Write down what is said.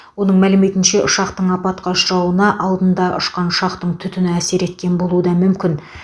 оның мәліметінше ұшақтың апатқа ұшырауына алдында ұшқан ұшақтың түтіні әсер еткен болуы да мүмкін